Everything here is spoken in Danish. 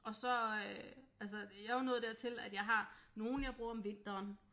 Og så øh altså jeg er jo nået dertil at jeg har nogle jeg bruger om vinteren